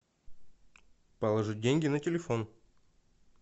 положить деньги на телефон